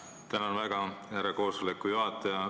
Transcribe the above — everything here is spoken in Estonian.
Tänan väga, härra koosoleku juhataja!